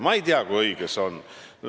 Ma ei tea, kui õige see on.